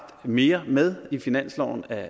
mere med i finansloven af